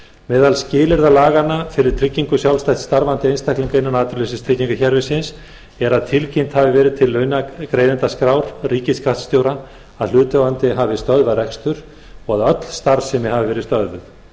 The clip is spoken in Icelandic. meðal skilyrða laganna fyrir tryggingu sjálfstætt starfandi einstaklinga innan atvinnuleysistryggingakerfisins er að tilkynnt hafi verið til launagreiðendaskrár ríkisskattstjóra að hlutaðeigandi hafi stöðvað rekstur og að öll starfsemi hafi verið stöðvuð ljóst er að